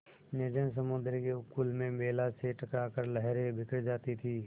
निर्जन समुद्र के उपकूल में वेला से टकरा कर लहरें बिखर जाती थीं